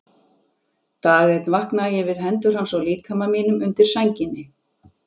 Dag einn vaknaði ég við hendur hans á líkama mínum undir sænginni.